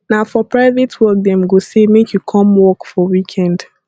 na for private work dem go say make you come work weekend